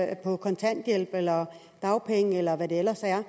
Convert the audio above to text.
er på kontanthjælp eller dagpenge eller hvad de ellers er